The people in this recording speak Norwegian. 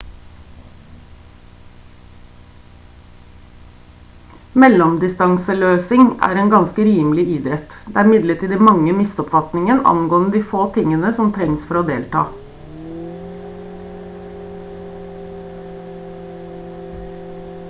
mellomdistanseløsing er en ganske rimelig idrett det er imidlertid mange misoppfatninger angående de få tingene som trengs for å delta